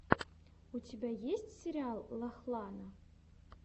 у тебя есть сериал лахлана